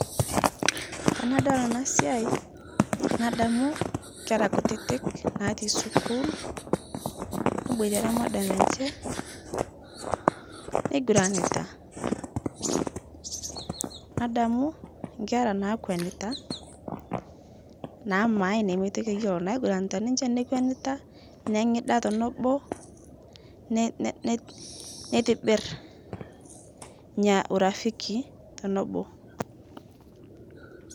Tanadol ana siai nadamu nkera kutitik natii skul, neboitere madam eche, neiguranita, nadamu nkera naakwenita, naaamae nemoitoki eyuolo, naiguranita niche nekwenita, neng'ida tenebo, ne ne net neitibir nyia urafiki tenobo.